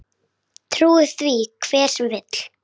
Þetta hefur verið ójafn leikur.